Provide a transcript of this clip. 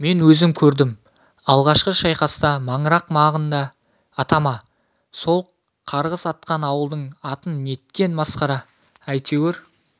мен өзім көрдім алғашқы шайқаста маңырақ маңында атама сол қарғыс атқан ауылдың атын неткен масқара әйтеуір